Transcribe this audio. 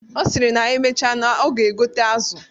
Ọ sịrị na emecha na ọ ga-egote azụ.